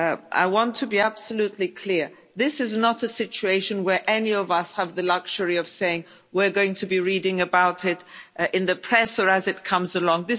I want to be absolutely clear this is not a situation where any of us have the luxury of saying we're going to be reading about it in the press or as it comes along.